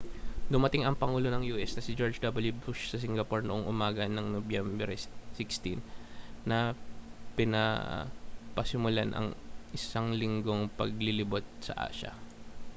dumating ang pangulo ng u.s. na si george w bush sa singapore noong umaga ng nobyembre 16 na pinapasimulan ang isang linggong paglilibot sa asya